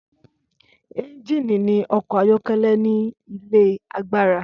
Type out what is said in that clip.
Ẹ́ngínì ní ọkọ̀ ayọ́kẹ́lẹ́ ní ilé agbára.